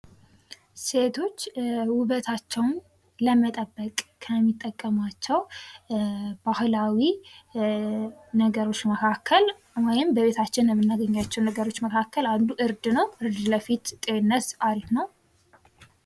ሴቶች ዉበታቸው ለመጠበቅ ከሚጠቀሟቸው ባህላዊ ነገሮች መካከል ውይም በቤታችን ከምናገኛቸው ነገሮች መካክለ አንዱ እርድ ነው።